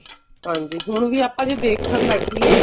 ਹਾਂਜੀ ਹੁਣ ਵੀ ਆਪਾਂ ਜੇ ਦੇਖਣ ਬੈਠੀਏ